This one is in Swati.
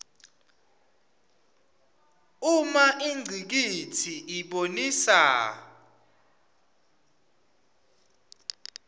uma ingcikitsi ibonisa